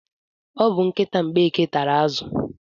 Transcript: O bu nkịta Mgbeke tara azụ.